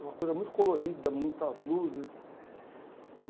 Uma coisa muito colorida, muitas luzes.